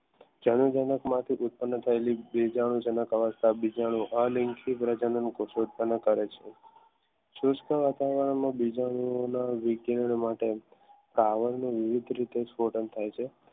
જણા જનક માંથી ઉત્પન્ન થયેલી સુસ્ત વાતાવરણમાં બીજાનું માટે વિવિધ રીતે થાય છે